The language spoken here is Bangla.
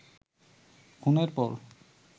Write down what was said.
খুনের পর